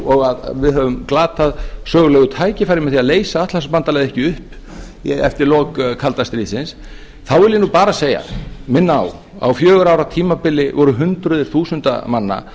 og að við höfum glatað sögulegu tækifæri með því að leysa atlantshafsbandalagið ekki upp eftir lok kalda stríðsins þá vil ég nú bara segja og minna á að á fjögurra ára tímabili voru hundruð þúsunda manna